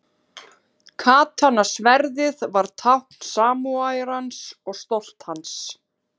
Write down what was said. Katana-sverðið var tákn samúræjans og stolt hans.